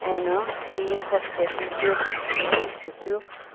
ena hiye hospital hiye küsükinimi juchekeu.